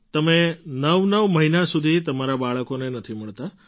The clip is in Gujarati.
તમે નવનવ મહિના સુધી તમારાં બાળકોને નથી મળતાં